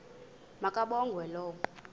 ma kabongwe low